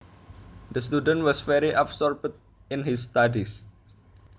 The student was very absorbed in his studies